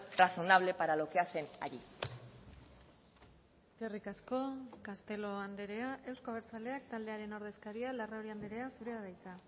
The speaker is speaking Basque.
razonable para lo que hacen allí eskerrik asko castelo andrea euzko abertzaleak taldearen ordezkaria larrauri andrea zurea da hitza